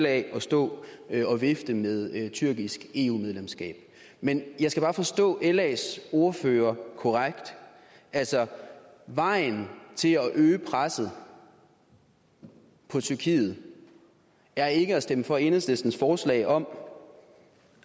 at stå og vifte med et tyrkisk eu medlemskab men jeg skal bare forstå las ordfører korrekt altså vejen til at øge presset på tyrkiet er ikke at stemme for enhedslistens forslag om